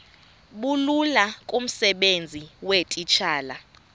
bulula kumsebenzi weetitshala